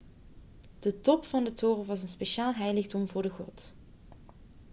de top van de toren was een speciaal heiligdom voor de god